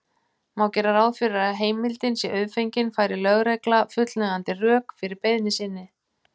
Má gera ráð fyrir að heimildin sé auðfengin færi lögregla fullnægjandi rök fyrir beiðni sinni.